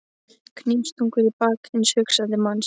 Hnífstungur í bak hins hugsandi manns.